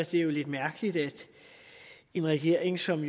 jo lidt mærkeligt at en regering som